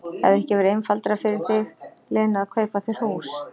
Hefði ekki verið einfaldara fyrir þig, Lena, að kaupa þér hús?